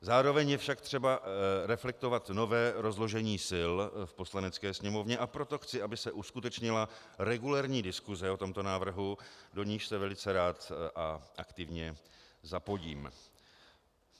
Zároveň je však třeba reflektovat nové rozložení sil v Poslanecké sněmovně, a proto chci, aby se uskutečnila regulérní diskuse o tomto návrhu, do níž se velice rád a aktivně zapojím.